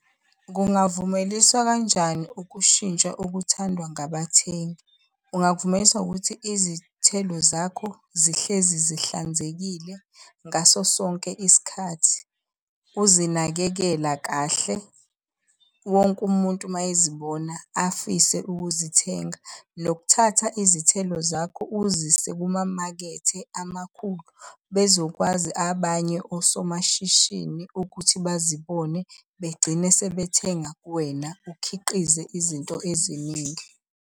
Kungavumeliswa kanjani ukushintsha okuthandwa ngabathengi? Ungakuvumelisa ngokuthi izithelo zakho zihlezi zihlanzekile ngaso sonke isikhathi. Uzinakekela kahle, wonke umuntu uma ezibona afise ukuzithenga. Nokuthatha izithelo zakho uzise kumamakethe amakhulu bezokwazi abanye osomashishini ukuthi bazibone begcine sebethenga kuwena ukhiqize izinto eziningi.